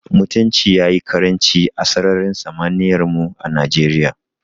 Mutunci ya yi ƙaranci a sararin samaniyar mu a Najeriya.